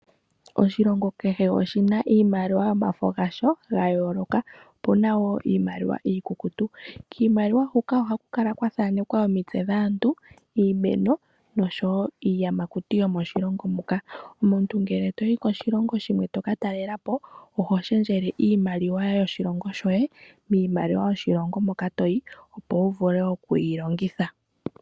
Oshilongo kehe oshina iimaliwa yomafa gasho gayooloka. Opuna wo iimaliwa iikukutu. Kiimaliwa huka ohaku kala kwathanekwa omitse dhaantu, iimeno nosho wo iiyamakuti yomoshilongo moka. Omuntu ngele toyi koshilongo shimwe toka talelapo oho shendjele iimaliwa yoshilongo shoye miimaliwa yoshilongo moka toyi opo wuvule okuyi longitha.